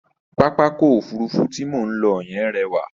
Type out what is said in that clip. Pápákọ̀ Òfurufú tí mò ń lọ yẹn rẹwà.